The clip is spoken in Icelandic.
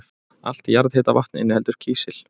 Allt jarðhitavatn inniheldur kísil.